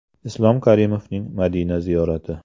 Islom Karimovning Madina ziyorati .